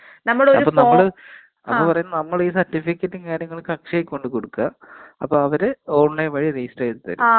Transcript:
അപ്പൊ നമ്മള്. നമ്മളീ സർട്ടിഫിക്കറ്റും കാര്യങ്ങളൊക്കെ അക്ഷയീ കൊണ്ട് കൊടുക്കാ. അവര് ഓൺലൈൻ വഴി രജിസ്റ്റർ ചെയ്ത് തരും.